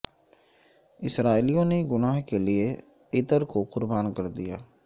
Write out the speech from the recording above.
اسرائیلیوں نے گناہ کے لئے عطر کو قربان کر دیا